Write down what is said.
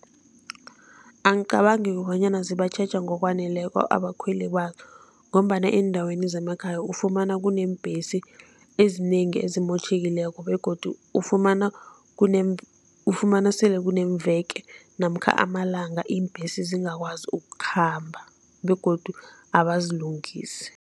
Angicabangi bonyana zibatjheja ngokwaneleko abakhweli bazo ngombana eendaweni zemakhaya ufumana kuneembhesi ezinengi ezimotjhekileko begodu ufumana ufumana sele kuneemveke namkha amalanga iimbhesi zingakwazi ukukhamba begodu abazilungisi.